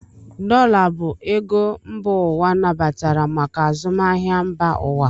Dollar bụ ego mba ụwa nabatara maka azụmahịa mba ụwa.